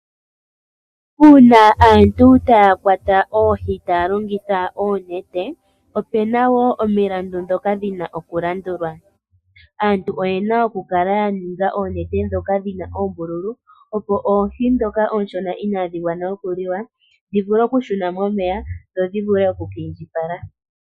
Uuna aantu taya kwata oohi taya longitha oonete, opuna wo omilandu dhoka dhina okulandulwa. Aantu oyena okukala ya ninga oonete dhoka dhina oombululu opo oohi dhoka ooshona inadhi gwana okuliwa, dhi vule okushuna momeya dho dhi vule oku ka indjipala.